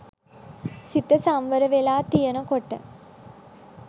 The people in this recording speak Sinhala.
සිත සංවර වෙලා තියෙන කොට